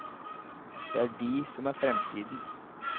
Det er de som er fremtiden.